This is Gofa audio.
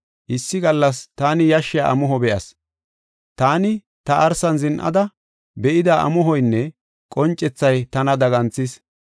Issi gallas taani yashshiya amuho be7as. Taani ta arsan zin7ada, be7ida amuhoynne qoncethay tana daganthis.